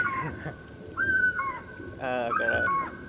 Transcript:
હા કરાયા હોએ